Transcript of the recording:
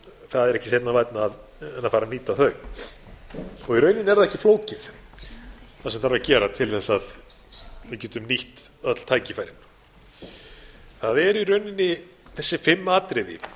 það er ekki seinna vænna en fara að nýta þau í rauninni er það ekkert flókið sem þarf að gera til að við getum nýtt öll tækifærin það eru í rauninni þessi fimm atriði